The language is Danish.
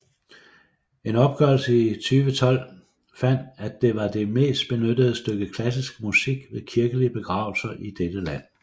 En opgørelse i 2012 fandt at det var det mest benyttede stykke klassiske musik ved kirkelige begravelser i dette land